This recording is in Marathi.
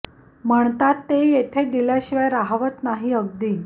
म्हणतात ते येथे दिल्या शिवाय राहवत नाही अगदी